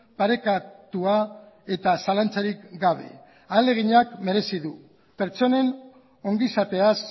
parekatua eta zalantzarik gabe ahaleginak merezi du pertsonen ongizateaz